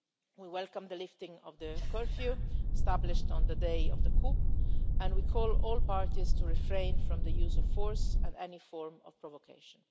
We welcome the lifting of the curfew established on the day of the coup, and we call on all parties to refrain from the use of force and any form of provocation.